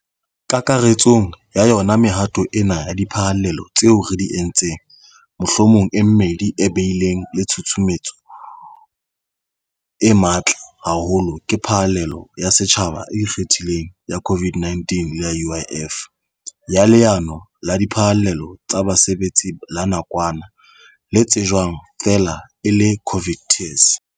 Kakaretsong ya yona mehato ena ya diphallelo tseo re di entseng mohlomong e mmedi e bileng le tshusumetso e matla haholo ke phallelo ya setjhaba e ikgethileng ya COVID-19 le ya UIF, ya Leano la Diphallelo tsa Basebetsi la Nakwana, le tsejwang feela e le COVID TERS.